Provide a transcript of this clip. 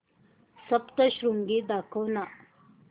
सप्तशृंगी दाखव ना